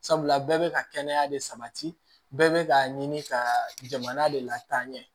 Sabula bɛɛ bɛ ka kɛnɛya de sabati bɛɛ bɛ k'a ɲini ka jamana de lataaɲɛ